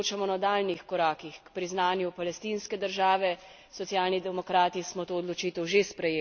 Socialni demokrati smo to odločitev že sprejeli. Dejstvo je, da želimo vzpostaviti dve državi.